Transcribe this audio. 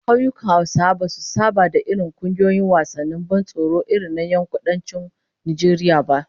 Kauyukan Hausawa basu saba da irin kungiyoyin wasannin ban tsoro irin na yankunan Kudancin Najeriya ba